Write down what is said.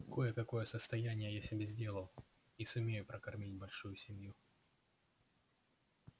кое-какое состояние я себе сделал и сумею прокормить большую семью